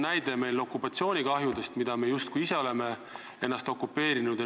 Näiteks võib tuua okupatsioonikahjud – me justkui ise oleme ennast okupeerinud.